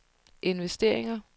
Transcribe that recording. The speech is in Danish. investeringer